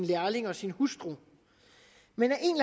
lærlinge og sin hustru men